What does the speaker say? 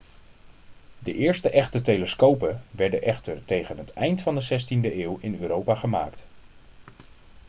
de eerste echte telescopen werden echter tegen het eind van de 16e eeuw in europa gemaakt